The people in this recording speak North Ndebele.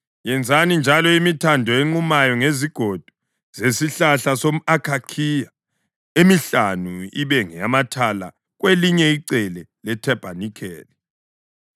Yenzani njalo imithando enqumayo ngezigodo zesihlahla somʼakhakhiya: emihlanu ibe ngeyamathala kwelinye icele lethabanikeli,